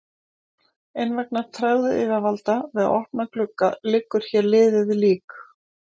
En vegna tregðu yfirvalda við að opna glugga liggur hann hér liðið lík.